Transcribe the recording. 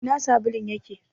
Ina sabulun yake?